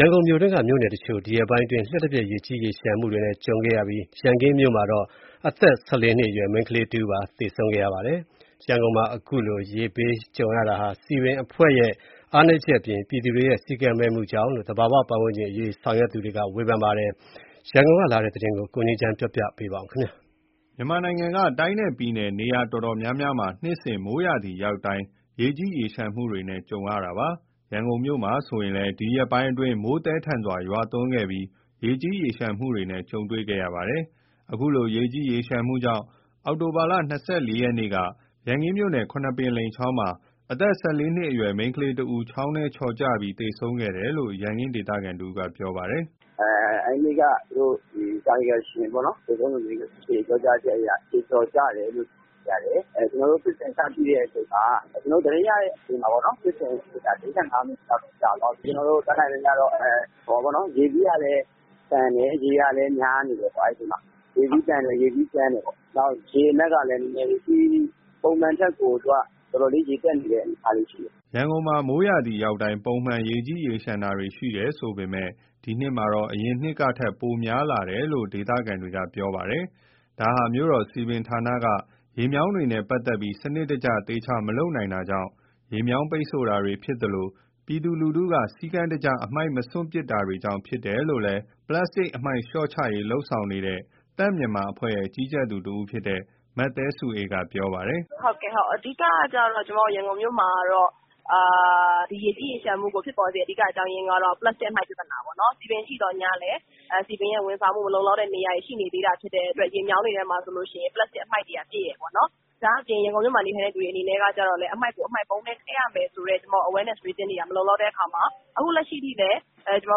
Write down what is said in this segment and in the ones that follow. ရန်ကုန်မြို့တွင်းက မြို့နယ်တချို့မှာ ဒီရက်ပိုင်းအတွင်း လျှပ်တစ်ပြက် ရေကြီးရေလျှံမှုနဲ့ ကြုံခဲ့ရပြီး ရန်ကင်းမြို့နယ်မှာတော့ အသက် ၁၄နှစ်အရွယ် မိန်းကလေးတဦး သေဆုံးခဲ့ရပါတယ်။ ရန်ကုန်မှာ အခုလိုရေဘေး ကြုံရတာဟာ စည်ပင်အဖွဲ့ရဲ့ အားနည်းချက်အပြင် ပြည်သူတွေရဲ့ စည်းကမ်းမဲ့မှုတွေကြောင့် ဖြစ်တယ်လို့ သာဘာဝပတ်ဝန်းကျင်အရေး ဆောင်ရွက်သူတွေက ဝေဖန်ကြပါတယ်။ ရန်ကုန်ကလာတဲ့ သတင်းကို ကိုငြိမ်းချမ်းကတင်ပြပေးပါမယ်။ မြန်မာနိုင်ငံက တိုင်းနဲ့ပြည်နယ် တော်တော်များများမှာ နှစ်စဉ် မိုးရာသီရောက်တိုင်း ရေကြီးရေလျှံမှုတွေနဲ့ ရင်ဆိုင်ကြရတာပါ။ ရန်ကုန်မှာမြို့မှာ ဆိုရင်လည်း ဒီရက်ပိုင်းအတွင်း မိုးသည်း ထန်စွာ ရွာသွန်းခဲ့ပြီး ရေကြီးရေလျှံမှုတွေနဲ့ကြုံတွေ့ခဲ့ရတာပါ။ အခုလို ရေကြီးရေလျှံမှုကြောင့် အောက်တိုဘာလ ၂၄ရက်နေ့က ရန်ကင်းမြို့နယ် ခုနှစ်ပင်လိမ်ချောင်းမှာ အသက် ၁၄နှစ် အရွယ် မိန်းကလေးတဦး ချောင်းထဲချော်ကျပြီး သေဆုံးခဲ့တယ်လို့ ရန်ကင်းဒေသခံ တဦးကပြောပါတယ်။ “အဲဒီနေ့က သေဆုံးသူရဲ့ အဖေပြောတာကတော့ ခြေချော်ကျတယ်လို့သိရတယ်၊ကျနော်တို့ သတင်းရတဲ့ အချိန်မှာ ဖြစ်စဉ်သိရတဲ့ အချိန်မှာ ၄၅မိနစ်လောက်တော့ရှိပြီ၊ ကျနော်တို့ တတ်နိုင်သမျှတော့ အဲနေ့က ရေစီးကလည်း သန်တယ်၊ ရေကလည်း များနေတယ်၊ ရေစီးကြမ်းတယ်၊ ရေအနက်ကလည်း ပုံမှန်ထက် ရေတက်နေတဲ့ အနေအထားရှိတယ်။” ရန်ကုန်မှာ မိုးရာသီ ရောက်တိုင်း ပုံမှန် ရေကြီးရေလျှံတာတွေ ရှိတယ်ဆိုပေမယ့်လည်း ဒီနှစ်မှာတော့ အရင်နှစ်တွေ ကထက် များလာတယ်လို့ ရန်ကုန် ဒေသခံတွေက ပြောဆိုကြပါတယ်။ ဒါဟာ မြို့တော်စည်ပင်ဌာနက ရေမြောင်းတွေနဲ့ ပတ်သက်ပြီး စံနစ်တကျ သေသေချာချာ မလုပ်နိုင်တာကြောင့် ရေမြောင်းပိတ်ဆို့ တာဖြစ်သလို ပြည်သူလူထု တွေ စည်းကမ်းတကျ အမှိုက် မစွန့်ပစ်တာတွေကြောင့် ဖြစ်တယ်လို့ ပလပ်စတစ်အမှိုက် လျှော့ချရေး လုပ်ဆောင်နေတဲ့ သန့်မြန်မာအဖွဲ့ရဲ့ ကြီးကြပ်သူတဦးဖြစ်တဲ့ မသဲစုအေးကပြောပါတယ်။ “ရန်ကုန်မှာ ရေကြီးရေလျှံမှုကို အဓိကဖြစ်ပေါ်စေရတဲ့ အကြောင်းကျတော့ ပလပ်စတိတ် အမှိုက်ပြဿနာပေါ့နော်၊ စည်ပင်ရှိသော်ငြားလည်း စည်ပင်ရဲ့ ဝန်ဆောင်မှုမလုံ လောက်တဲ့ နေရာတွေ ရှိနေသေးတဲ့ အတွက် ရေမြောင်းတွေထဲမှာ ဆိုလို့ရှိရင် ပလပ်စတတ် အမှိုက်တွေကပြည့်တယ်။ ဒါ့အပြင် ရန်ကုန်မြို့မှာ နေထိုင်တဲ့ သူတွေကလည်း အမှိုက်ကို အမှိုက်ပုံးထဲ ထည့်ရမယ်ဆိုတဲ့ awareness တွေ မလုံလောက်တဲ့ အခါမှာ အခုအချိန်ထိလည်း ရေမြောင်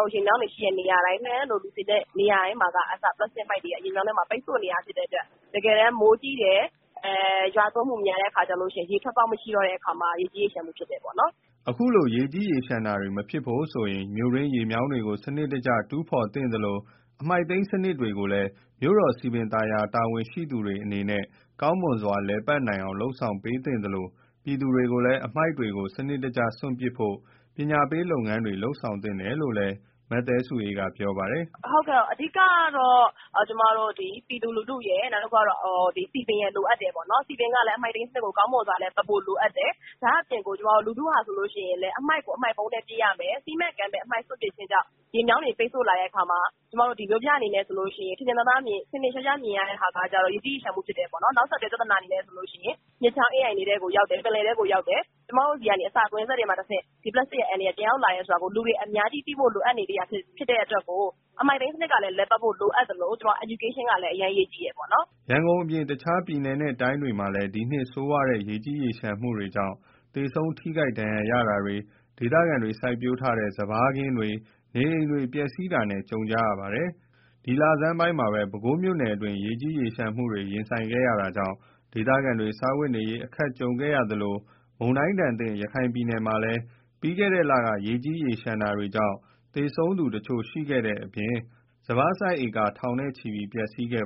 း တွေ ရှိတဲ့ နေရာတိုင်း လှည်းတန်းလို လူစည်ကားတဲ့ နေရာတွေမှာက အစ ပလပ်စတတ် အမှိုက်တွေက ရေမြောင်းထဲမှာ ပိတ်ဆို့နေတာရှိတယ် တကယ်တမ်း မိုးကြီး တယ်၊ မိုရွာသွန်းမှုများတဲ့အခါ ရေထွက်ပေါက်မရှိ တော့တဲ့အခါ ရေကြီးရေလျှံမှု ဖြစ်တယ်ပေါ့နော်။” အခုလို ရေကြီးရေလျှံတာတွေ မဖြစ်ဖို့အတွက်ဆိုရင် မြို့တွင်းရေမြောင်းတွေကို စနစ်တကျ တူးဖော်သင့်သလို အမှိုက်သိမ်းစနစ်တွေကိုလည်း မြို့တော်စည်ပင် သာယာရေး တာဝန်ရှိသူတွေအနေနဲ့ ကောင်းမွန်စွာ လည်ပတ်နိုင်အောင်လုပ် ဆောင်ပေးသင့်သလို ပြည်သူတွေကိုလည်း အမှိုက်တွေကို စနစ်တကျစွန့်ပစ်ဖို့ ပညာရေးလုပ်ငန်းတွေ လုပ်ဆောင်သင့်တယ်လို့ လည်း မသဲစုအေးကဆက်ပြောပါတယ်။ “အဓိကတော့ ကျမတို့ ပြည်သူလူထုရယ် စည်ပင်ရယ် လိုအပ်တယ်ပေါ့နော်၊ စည်ပင်ကလည်း အမှိုက်သိမ်းစနစ်ကို ကောင်းမွန်စွာ လည်ပတ်ဖို့ လိုအပ်တယ်၊ ဒါ့အပြင် ကျမတို့ လူထုဟာဆိုလို့ရှိရင်လည်း အမှိုက်ကို အမှိုက်ပုံးထဲ ပစ်ရမယ်၊ စည်းမဲ့ ကမ်းမဲ့ အမှိုက်စွန့်ပစ်တာကြောင့် ရေမြောင်းတွေ ပိတ်ဆို့လာတဲ့ အခါမှာ မြို့ပြဆိုရင် ထင်ထင်ရှားရှားမြင်ရတာက ရေကြီးရေလျံ မှုဖြစ်တယ်။ နောက်ဆက်တွဲ ပြဿနာဆိုလို့ရှိရင် မြစ်ချောင်း အင်းအိုင်တွေထဲကို ရောက်တယ် ပင်လယ်ထဲကိုရောက်တယ်၊ အဲဒီကလည်း အစာကွင်းဆက်ကနေတဆင့် ဒီပလပ်စတတ်ရဲ့ အန္တရာယ်က ပြန်ရောက်လာတယ်ဆိုတာ လူတွေအများကြီးသဖို့လိုအပ်နေသေးသလို အမှိုက်သိမ်းစနစ်ကလည်း လည်ပတ်ဖို့ လိုအပ်သလို ပညာပေးတွေ လုပ်ဖို့လည်း အရမ်းအရေးကြီးပါတယ်။” ရန်ကုန်အပြင် တခြားတိုင်းနဲ့ပြည်နယ်တွေမှာလည်း ဒီနှစ်ဆိုးဝါးတဲ့ ရေကြီးရေလျှံမှုကြောင့် သေဆုံး ထိခိုက်ဒဏ်ရာရတာတွေ၊ ဒေသခံတွေ စိုက်ပျိုးထားတဲ့ စပါးစိုက်ခင်းတွေ၊ နေအိမ်တွေ ပျက်စီးတာနဲ့ ကြုံကြရတာပါ။ ဒီလဆန်းပိုင်းမှာပဲ ပဲခူးမြို့နယ်တွင်း ရေးကြီးရေလျံမှုတွေနဲ့ရင်ဆိုင်ခဲ့ရတာကြောင့် ဒေသခံတွေ စားဝတ်နေရေး အခက်ကြုံခဲ့ကြရသလို မုန်တိုင်းဒဏ်သင့် ရခိုင်ပြည်နယ်မှာလည်း ပြီးခဲ့တဲ့ လတွေက ရေကြီးရေလျှံတာတွေကြောင့် သေဆုံးသူတချို့ရှိခဲ့တဲ့အပြင် စပါးစိုက်လယ်ဧက ထောင်ချီပျက်စီးခဲ့